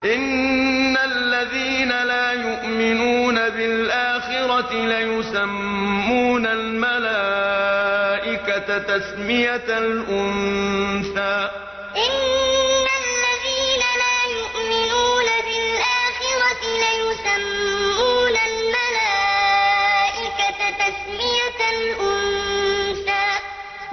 إِنَّ الَّذِينَ لَا يُؤْمِنُونَ بِالْآخِرَةِ لَيُسَمُّونَ الْمَلَائِكَةَ تَسْمِيَةَ الْأُنثَىٰ إِنَّ الَّذِينَ لَا يُؤْمِنُونَ بِالْآخِرَةِ لَيُسَمُّونَ الْمَلَائِكَةَ تَسْمِيَةَ الْأُنثَىٰ